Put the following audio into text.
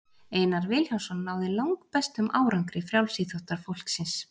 einar vilhjálmsson náði langbestum árangri frjálsíþróttafólksins